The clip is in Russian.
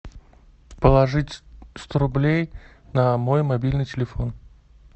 положить сто рублей на мой мобильный телефон